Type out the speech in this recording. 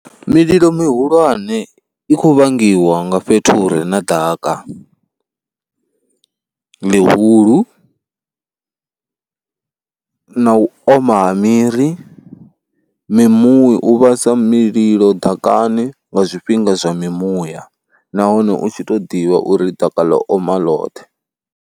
Mililo mihulwane i khou vhangiwa nga fhethu hu re na ḓaka ḽihulu na u oma miri, mimuya, u vhasa mililo ḓakani nga zwifhinga zwa mimuya nahone u tshi tou ḓivha uri ḓaka ḽo oma loṱhe.